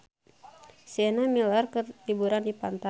Sienna Miller keur liburan di pantai